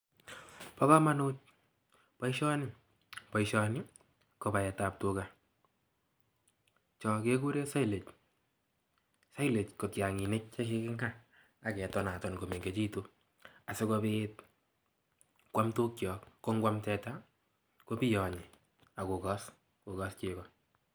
Bo komonut boisioni. Boisioni ko paet ab tuga. Chon kekuren silage. Silage ko tiang'inik chekiking'aa aketonaton komechekitun, asikopiit kwam tukyok. Ko ngwam teta kopiyonyi ak kokos chego.